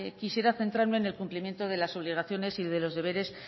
quisiera centrarme en el cumplimiento de las obligaciones y de los deberes